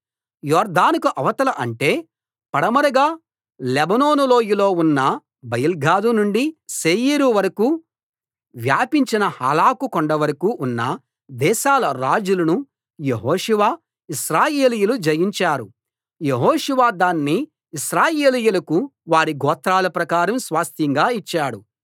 యొర్దానుకు అవతల అంటే పడమరగా లెబానోను లోయలో ఉన్న బయల్గాదు నుండి శేయీరు వరకూ వ్యాపించిన హాలాకు కొండవరకూ ఉన్న దేశాల రాజులను యెహోషువ ఇశ్రాయేలీయులు జయించారు యెహోషువ దాన్ని ఇశ్రాయేలీయులకు వారి గోత్రాల ప్రకారం స్వాస్థ్యంగా ఇచ్చాడు